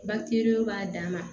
Batiriw b'a dan ma